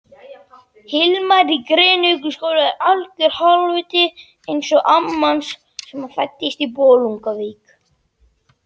að sínu leyti eins og röntgengeislar fara gegnum hold mannslíkamans.